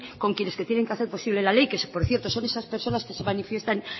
con quienes tienen que hacer posible la ley que por cierto son esas personas que se manifiestan